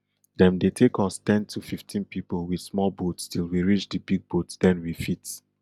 dem dey take us ten to fifteen pipo with small boats till we reach di big boat den we fit